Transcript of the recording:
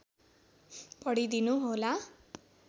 पढिदिनु होला